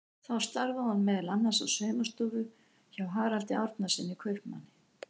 Þar starfaði hún meðal annars á saumastofu hjá Haraldi Árnasyni kaupmanni.